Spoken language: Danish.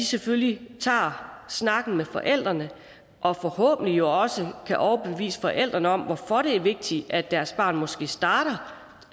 selvfølgelig tager snakken med forældrene og forhåbentlig også kan overbevise forældrene om hvorfor det er vigtigt at deres barn måske starter